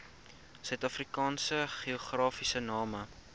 suidafrikaanse geografiese name